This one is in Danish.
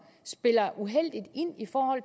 spiller uheldigt ind i forhold